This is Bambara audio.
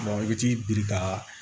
i bɛ t'i biri ka